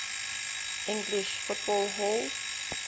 english football hall